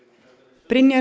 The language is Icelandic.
Brynjar